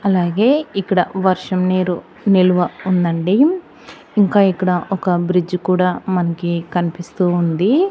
అలాగే ఇక్కడ వర్షం నీరు నిలువ ఉందండి ఇంకా ఇక్కడ ఒక బ్రిడ్జి కూడా మనకి కనిపిస్తూ ఉంది.